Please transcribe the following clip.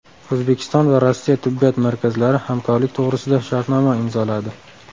O‘zbekiston va Rossiya tibbiyot markazlari hamkorlik to‘g‘risida shartnoma imzoladi.